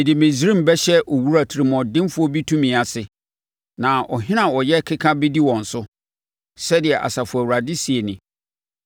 Mede Misraim bɛhyɛ owura tirimuɔdenfoɔ bi tumi ase, na ɔhene a ɔyɛ keka bɛdi wɔn so,” sɛdeɛ Asafo Awurade seɛ nie.